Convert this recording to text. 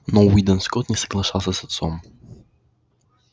но уидон скотт не соглашался с отцом